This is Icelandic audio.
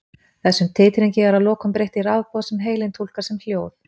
Þessum titringi er að lokum breytt í rafboð sem heilinn túlkar sem hljóð.